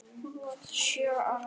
Hún varð sjö ára.